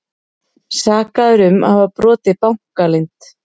Sakaður um að hafa brotið bankaleynd